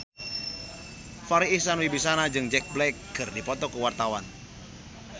Farri Icksan Wibisana jeung Jack Black keur dipoto ku wartawan